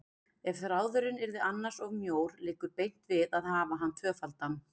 Ef þráðurinn yrði annars of mjór liggur beint við að hafa hann tvöfaldan.